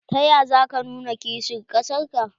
Ta ya za ka nuna kishin kasar ka?